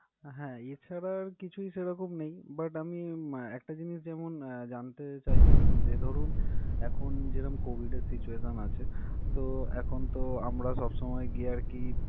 হ্যা, এছাড়া আর কিছুই সেরকম নেই but আমি উম একটা জিনিস যেমন জানতে চাইছিলাম যে ধরুন এখন যেরম COVID এর situation আছে তো এখন তো আমরা সবসময় গিয়ে আর কি।